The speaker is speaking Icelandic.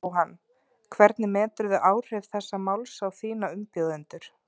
Jóhann: Hvernig meturðu áhrif þessa máls á þína umbjóðendur?